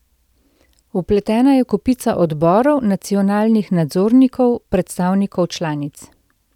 Vpletena je kopica odborov, nacionalnih nadzornikov, predstavnikov članic.